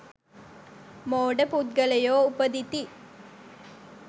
මෝඩ පුද්ගලයෝ උපදිති.